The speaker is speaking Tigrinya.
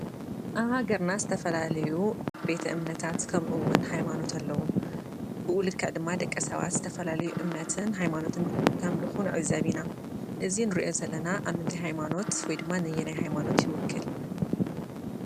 ኣብ ሃገርና ዝተፈላለዩ ቤተ እምነታት ከምኡውን ሃይማኖት ኣለው፡፡ ብኡ ልክዕ ድማ ደቂ ሰባት ዝተፈላለየ እምነትን ሃይማኖትን ከምልኹ ንዕዘብ ኢና፡፡ እዚ ንሪኦ ዘለና ኣብ ምንታይ ሃይማኖት ወይ ድማ ነየናይ ሃይማኖት ይውክል?